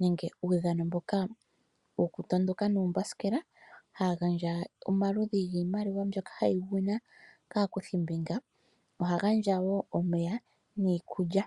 nenge uudhano mboka wokutondoka nuumbasikela, hagandja omaludhi giimaliwa mbyoka hayi sindanwa kaakuthimbinga. Ohagandja wo omeya niikulya.